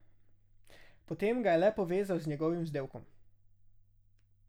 Potem ga je le povezal z njegovim vzdevkom.